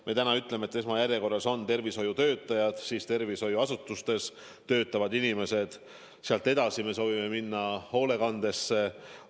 Me oleme öelnud, et esmajärjekorras on tervishoiutöötajad, siis muud tervishoiuasutustes töötavad inimesed, sealt edasi me soovime minna hoolekandeasutustesse.